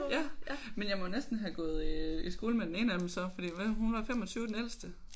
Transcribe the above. Ja ja men jeg må næsten have gået i skole med den ene af dem så fordi hvad hun var 25 den ældste?